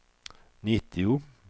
nittio